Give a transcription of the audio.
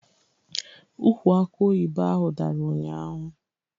Ụkwụ akọ oyibo ahụ dàrà ụnyaahụ